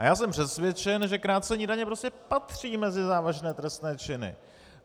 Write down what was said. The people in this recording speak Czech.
A já jsem přesvědčen, že krácení daně prostě patří mezi závažné trestné činy.